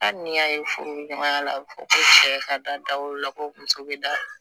Hali ni y'a ye furu ɲɔgɔnya la a bi fɔ ko cɛ ka da o la ko muso be da